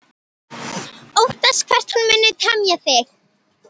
Óttast hvert hún muni teyma mig.